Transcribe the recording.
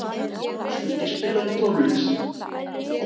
Skuggi, spilaðu tónlist.